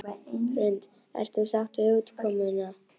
Hrund: Ert þú sátt við útkomuna?